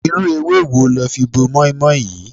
Irú ewé wo le fi bo mọ́í-mọ́í yìí?